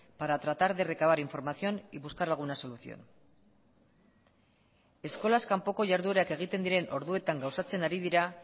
para tratar de recabar información y buscar alguna solución eskolaz kanpoko jarduerak egiten diren orduetan gauzatzen ari dira